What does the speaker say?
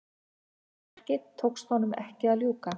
Þessu verki tókst honum ekki að ljúka.